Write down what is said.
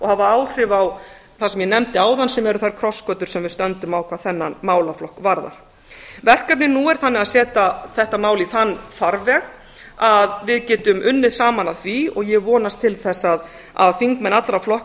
og hafa áhrif á það sem ég nefndi áðan sem eru þær krossgötur sem við stöndum á hvað þennan málaflokk varðar verkefnið nú er þannig að setja þetta mál í þann farveg að við getum unnið saman að því og ég vonast til þess að þingmenn allra flokka